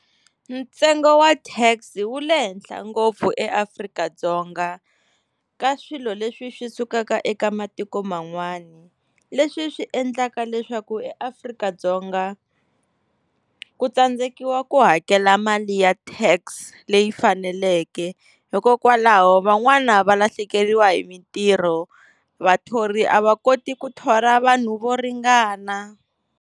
Ntsengo wa tax wu le henhla ngopfu eAfrika-Dzonga ka swilo leswi swi sukaka eka matiko man'wana. Leswi swi endlaka leswaku eAfrika-Dzonga ku tsandzekiwa ku hakela mali ya tax leyi faneleke. Hikokwalaho van'wana va lahlekeriwa hi mintirho, vathori a va koti ku thola vanhu vo ringana.